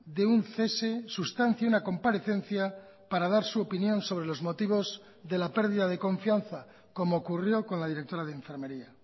de un cese sustancie una comparecencia para dar su opinión sobre los motivos de la pérdida de confianza como ocurrió con la directora de enfermería